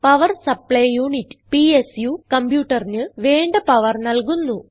power supply unit PSU കംപ്യൂട്ടറിന് വേണ്ട power നല്കുന്നു